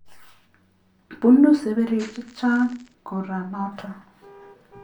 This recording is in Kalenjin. Bunu seberik che chang kora notok .